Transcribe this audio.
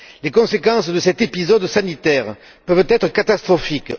Les conséquences de cet épisode sanitaire peuvent être catastrophiques.